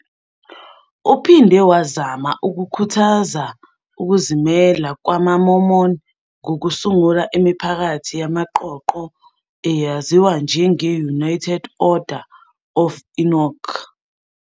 Uphinde wazama ukukhuthaza ukuzimela kwamaMormon ngokusungula imiphakathi yamaqoqo, eyaziwa njenge- United Order of Enoch.